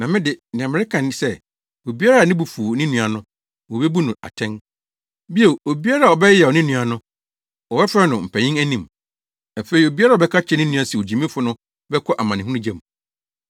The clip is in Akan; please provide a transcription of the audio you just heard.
Na me de, nea mereka ne sɛ, obiara a ne bo befuw ne nua no, wobebu no atɛn. Bio, obiara a ɔbɛyeyaw ne nua no, wɔbɛfrɛ no wɔ mpanyin anim. Afei obiara a ɔbɛka akyerɛ ne nua se, ‘Ogyimifo’ no bɛkɔ amanehunu gya mu.